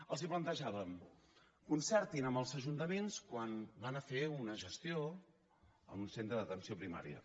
els plantejàvem concertin amb els ajuntaments quan van a fer una gestió en un centre d’atenció primària